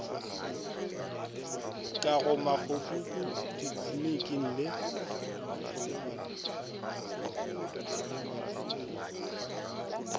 ka go makgobapuku ditliliniki le